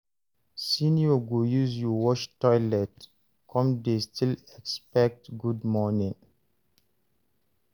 Senior go use you wash toilet come dey still expect good morning